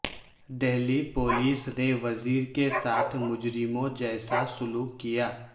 Delhi police نے وزیر کے ساتھ مجرموں جیسا سلوک کیا